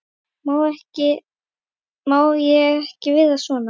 Má ég ekki vera svona?